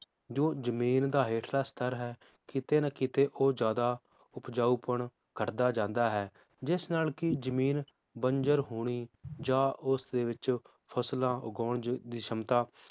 ਜੋ ਜਮੀਨ ਦਾ ਹੇਠਲਾ ਸਤਰ ਹੈ ਕਿਤੇ ਨਾ ਕਿਤੇ ਉਹ ਜ਼ਿਆਦਾ ਉਪਜਾਊਪਣ ਘਟਦਾ ਜਾਂਦਾ ਹੈ ਜਿਸ ਨਾਲ ਕਿ ਜਮੀਨ ਬੰਜਰ ਹੋਣੀ ਜਾਂ ਉਸ ਦੇ ਵਿਚ ਫਸਲਾਂ ਉਗਾਉਣ ਜ~ ਦੀ ਸ਼ਮਤਾ